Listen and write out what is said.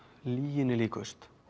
lyginni líkust